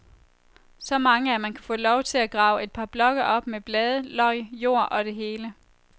Så mange, at man kan få lov til at grave et par blokke op med blade, løg, jord og det hele.